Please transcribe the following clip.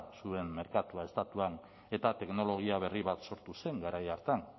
zuen merkatua estatuan eta teknologia berri bat sortu zen garai hartan